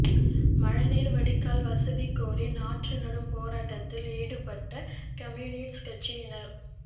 மழை நீா் வடிகால் வசதி கோரி நாற்று நடும் போராட்டத்தில் ஈடுபட்ட கம்யூனிஸ்ட் கட்சியினா்